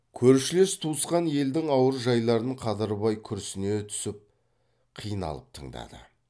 көршілес туысқан елдің ауыр жайларын қадырбай күрсіне түсіп қиналып тыңдады